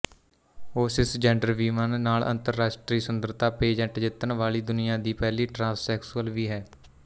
ਉਹ ਸਿਸਜੈਂਡਰਵੀਮਨ ਨਾਲ ਅੰਤਰਰਾਸ਼ਟਰੀ ਸੁੰਦਰਤਾ ਪੇਜੈਂਟ ਜਿੱਤਣ ਵਾਲੀ ਦੁਨੀਆ ਦੀ ਪਹਿਲੀ ਟਰਾਂਸ ਸੈਕਸੂਅਲ ਵੀ ਹੈ